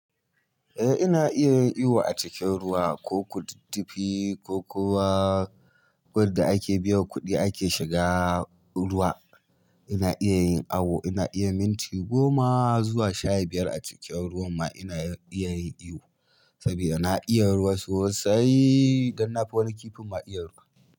Eh ina iya yin iyo a cikin ruwa ko kududdufi ko kuma wanda ake biyan kuɗi ake shiga ruwa. Ina iya yin awu, ina iya minti goma zuwa sha biyar a cikin ruwan ma ina iya yin iyo saboda na iya ruwa sosai. Dan na fi wani kifin ma iya ruwa.